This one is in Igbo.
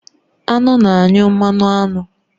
Aṅụ na-anyụ mmanụ aṅụ